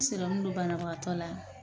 don banabagatɔ la